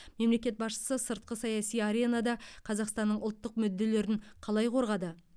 мемлекет басшысы сыртқы саяси аренада қазақстанның ұлттық мүдделерін қалай қорғады